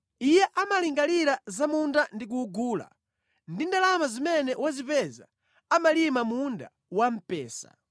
Iye amalingalira za munda ndi kuwugula; ndi ndalama zimene wazipeza amalima munda wamphesa.